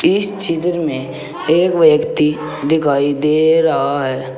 इस चित्र में एक व्यक्ति दिखाई दे रहा है।